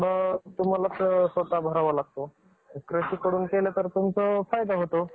हिंदू पौराणिक कथांमध्ये नागाला विशेष स्थान आहे. यादिवशी नागांना आणि इतर सापांना दूध दिले जाते. आणि दिवे लावून,